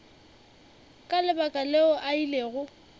ka lebaka leo a ilego